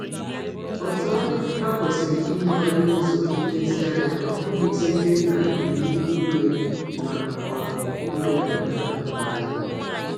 Otú ọ dị, ha kwesịrị ime ya n’ụzọ nlezianya, ọ bụghị site n’iwu iwe ma ọ bụ iweda mmadụ ala.